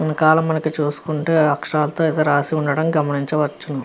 వెనకాల మనకు చూసుకుంటే అక్షరాలతో ఏదో రాసి ఉండటం మనము గమనించవచ్చు.